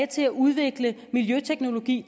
til at udvikle miljøteknologi